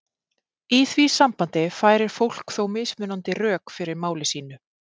Í því sambandi færir fólk þó mismunandi rök fyrir máli sínu.